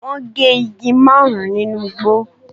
Wọ́n gé igi márùn-ún nínú igbó.